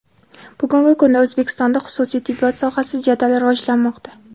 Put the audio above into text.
Bugungi kunda O‘zbekistonda xususiy tibbiyot sohasi jadal rivojlanmoqda.